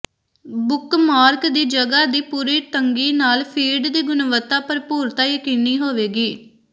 bookmark ਦੀ ਜਗ੍ਹਾ ਦੀ ਪੂਰੀ ਤੰਗੀ ਨਾਲ ਫੀਡ ਦੀ ਗੁਣਵੱਤਾ ਭਰਪੂਰਤਾ ਯਕੀਨੀ ਹੋਵੇਗੀ